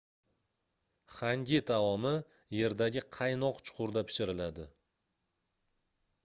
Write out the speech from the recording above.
xangi taomi yerdagi qaynoq chuqurda pishiriladi